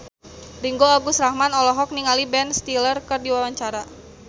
Ringgo Agus Rahman olohok ningali Ben Stiller keur diwawancara